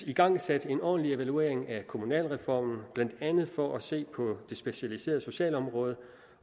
igangsat en ordentlig evaluering af kommunalreformen blandt andet for at se på det specialiserede socialområde